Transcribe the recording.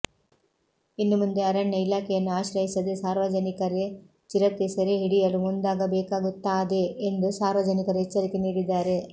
ಇನ್ನು ಮುಂದೆ ಅರಣ್ಯ ಇಲಾಖೆಯನ್ನು ಆಶ್ರಯಿಸದೆ ಸಾರ್ವಜನಿಕರೆ ಚಿರತೆ ಸೆರೆ ಹಿಡಿಯಲು ಮುಂದಾಗಬೇಕಾಗುತ್ತಾದೆ ಎಂದು ಸಾರ್ವಜನಿಕರು ಎಚ್ಚರಿಕೆ ನೀಡಿದ್ದಾರೆ